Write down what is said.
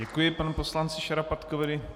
Děkuji panu poslanci Šarapatkovi.